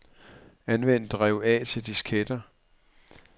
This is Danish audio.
Anvend drev A til disketter.